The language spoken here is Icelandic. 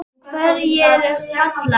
Hverjir falla?